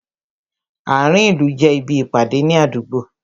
Ààrin ìlú jẹ́ ibi Ìpàdé ní àdúgbò